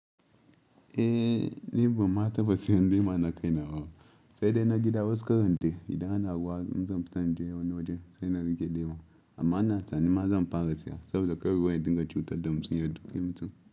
Eh, ni ba ma taba siyan lema na kai nawo. Sai dai na gida wasu karandai, idan anawa zan fita na je wani waje sai na rike lema. Amma na tunani ma zan fara siya saboda kawai dinga cutar da musinyar duk yanzu.